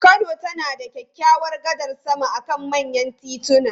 Kano tana da kyawawan gadar sama akan manyan tituna.